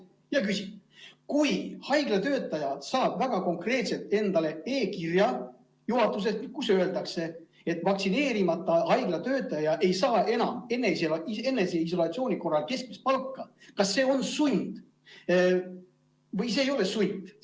Ma küsin: kui haiglatöötaja saab väga konkreetselt endale juhatuselt e-kirja, kus öeldakse, et vaktsineerimata haiglatöötaja ei saa enam eneseisolatsiooni korral keskmist palka, siis kas see on sund või see ei ole sund?